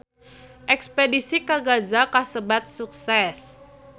Espedisi ka Gaza kasebat sukses